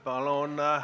Aitäh!